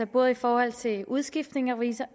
både i forhold til udskiftning af revisor og